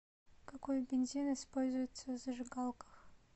какой бензин используется в зажигалках